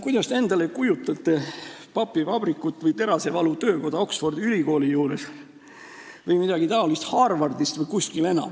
Kas te kujutate ette papivabrikut või terasevalutöökoda Oxfordi Ülikooli juures või midagi taolist Harvardi lähedal?